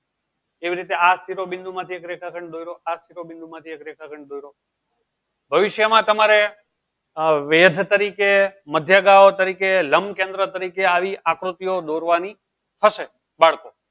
એવી રીતે આ શિરોબિંદુમાંથી એક રેખાખંડ દોર્યો આ શિરોબિંદુમાંથી એક રેખાખંડ દોર્યો ભવિષ્ય માં તમારે તરીકે મધ્યગાઓ તરીકે લવ કેન્દ્ર તરીકે આવી આકૃતિઓ દોરવાની થશે બાળકો